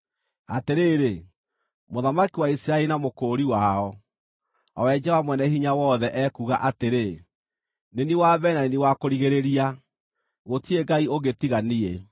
“Atĩrĩrĩ, Mũthamaki wa Isiraeli na Mũkũũri wao, o we Jehova-Mwene-Hinya-Wothe, ekuuga atĩrĩ: Nĩ niĩ wa mbere na nĩ niĩ wa kũrigĩrĩria, gũtirĩ Ngai ũngĩ tiga niĩ.